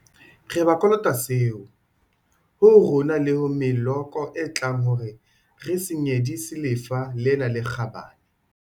Re ba kolota seo, ho ho rona le ho meloko e tlang hore re se nyedisi lefa lena le kgabane.